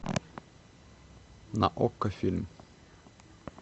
на окко фильм